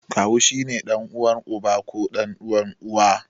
Kawu shi ne ɗan'uwan uba ko ɗan'uwan Uwa.